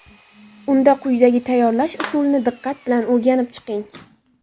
Unda quyidagi tayyorlash usulini diqqat bilan o‘rganib chiqing.